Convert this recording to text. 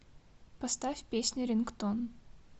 поставь песня рингтон